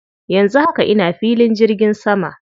Yanzu haka ina filin jirgin sama.